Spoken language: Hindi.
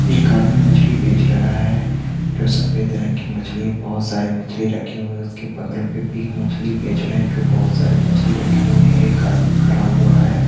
एक आदमी मछली बेच रहा है जो सफ़ेद रंग की मछली है बहोत सारी मछली रखी हुई है उसके बगल पे भी मछली बेच रहे हैं जो बहोत सारी मछली रखे हुए हैं एक आदमी खड़ा हुआ है।